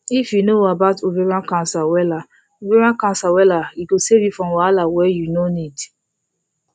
if you know about ovarian cancer wella ovarian cancer wella e go save you from wahala wey you no need